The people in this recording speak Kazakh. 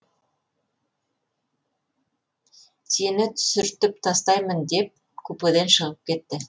сені түсіртіп тастаймын деп купеден шығып кетті